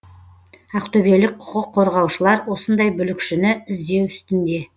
ақтөбелік құқық қорғаушылар осындай бүлікшіні іздеу үстінде